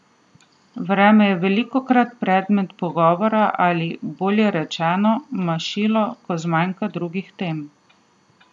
Vreme je velikokrat predmet pogovora ali, bolje rečeno, mašilo, ko zmanjka drugih tem.